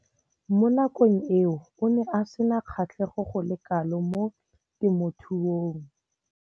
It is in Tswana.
Mo nakong eo o ne a sena kgatlhego go le kalo mo temothuong.